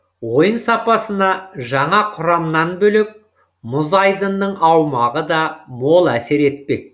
ойын сапасына жаңа құрамнан бөлек мұз айдынның аумағы да мол әсер етпек